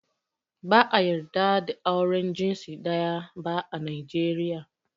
Ba ã yarda da auren jinsi daya ba ã Najeriya.